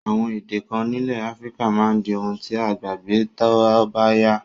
Àwon èdè kan nílẹ̀ Africa máa di oun ti a gbàgbé tóbáyá